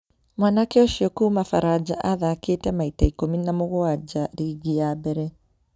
Mwanake ũcio kuuma Faraja athakĩte maita ikũmi na mũgwaja ligi ya mbere